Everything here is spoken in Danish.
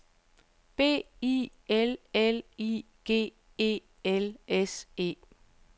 B I L L I G E L S E